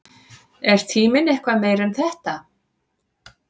Er tíminn eitthvað meira en þetta?